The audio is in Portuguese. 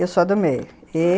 Eu sou do meio.